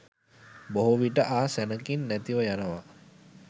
බොහෝ විට ආ සැණකින් නැතිව යනවා.